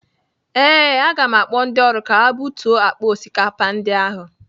Ee, aga m akpọ ndị ọrụ ka ha butuo akpa osikapa ndị ahụ.